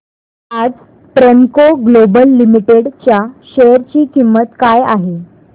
आज Premco Global Limited च्या share ची किंमत काय आहे